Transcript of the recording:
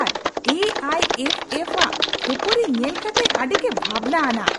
R A I F F ᱼᱟᱜ ᱠᱷᱟᱹᱯᱟᱹᱨᱤ ᱧᱮᱞ ᱠᱟᱛᱮ ᱟᱹᱰᱤᱜᱮ ᱵᱷᱟᱵᱽᱱᱟ ᱟᱱᱟᱜ ᱾